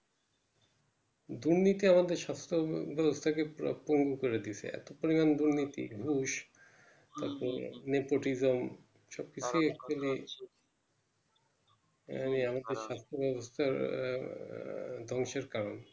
দুর্নীতি আমাদের পুরা পঙ্গু করে দিয়েছে এত পরিমানে দুর্নীতি যে ভবিষৎ তারপর Nepotism